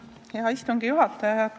Hea istungi juhataja!